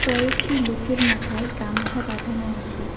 কয়েকটি লোকের মাথায় গামছা বাঁধানো আছে।